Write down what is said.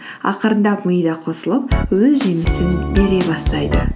ақырындап мида қосылып өз жемісін бере бастайды